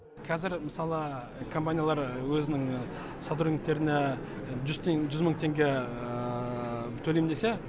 қазір мысалы компаниялар өзінің сотрудниктеріне жүз мың теңге төлеймін десе